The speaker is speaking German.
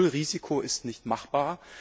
Nullrisiko ist nicht machbar.